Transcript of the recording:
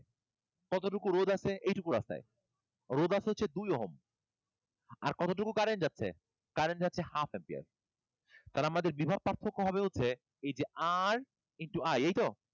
কতটুকু রোধ আছে? এইটুকু রাস্তায়? রোধ আছে হচ্ছে দুই Ohm আর কতটুকু যাচ্ছে? Current যাচ্ছে half ampere তাহলে আমাদের বিভব পার্থক্য হবে হচ্ছে এই r into I এই তো?